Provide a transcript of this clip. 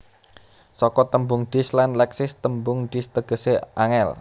Saka tembung Dis lan Leksis tembung Dis tegesé angel